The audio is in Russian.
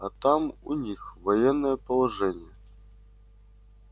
а там у них военное положение